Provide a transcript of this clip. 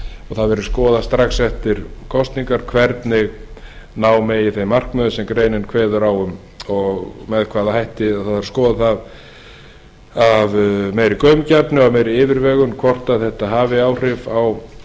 það verði skoðað strax eftir kosningar hvernig ná megi þeim markmiðum sem greinin kveður á um og með hvaða hætti verði skoðað af meiri gaumgæfni og meiri yfirvegun hvort þetta hafi áhrif á